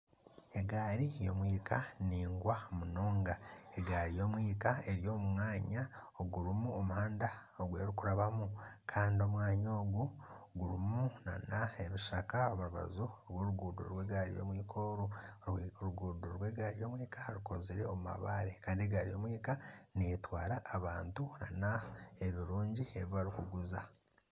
Egaari y'omwika naingwa munonga, egaari y'omwika eri omu mwanya ogurimu omuhanda ogw'eri kurabamu kandi omwanya ogu gurimu nana ebishaka omu rubaju rw'oruguuto rw'egaari y'omwika oru. Oruguuto rw'egaari y'omwika rukozirwe omu mabare kandi egaari y'omwika netwara abantu na n'ebirungi ebibarikuguza.